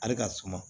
Ale ka suma